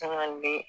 Caman be